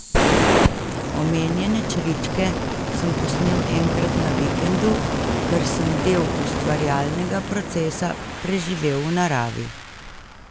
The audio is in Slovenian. Omenjene čričke sem posnel enkrat na vikendu, ker sem del ustvarjalnega procesa preživel v naravi.